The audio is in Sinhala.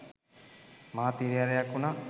මහත් හිරිහැරයක් වුණා.